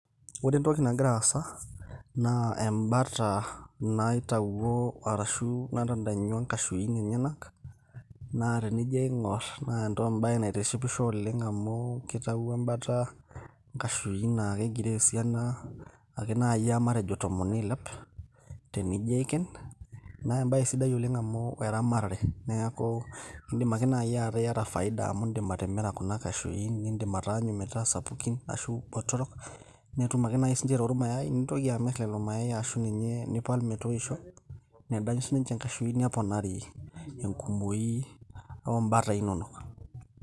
Ore entoki nagira aasa naa embata naitawuo ashu natadanyua inkashuin enyenak naa tenijo aing'orr naa embaye naitishipisho oleng amu kitawuo embata nkashuin naa kegiroo esiana ake naaji aa matejo tomon niilep tenijo aiken naa embaye sidai oleng amu eramatare neeku indim ake naaji ataa iyata faida amu indim atimira kuna kashuin nindim ataanyu metaa sapukin ashu botorok netum ake naaji sininche aitau irmayai nintoki amirr lelo mayai ashu ninye nipal metoisho nedanyu sininche inkashuin neponari enkumoki oombatai inonok.